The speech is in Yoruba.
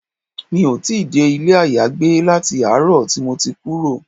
Mi ò tí dé ilé ayagbé láti àárọ̀ tí mo ti kúrò.